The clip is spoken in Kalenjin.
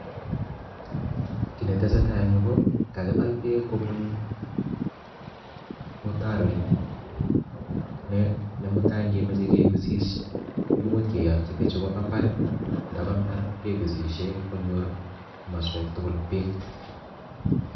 Kiy netesetai eng yu ko kakibal bek kobun mutaroit ne mutai kemoche kibisishe imuch keyotyi bichu koba mbar ndaba mbar kebisishe konyor maswek tugul bek.